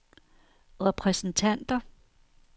repræsentanter